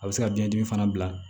A bɛ se ka biɲɛdimi fana bila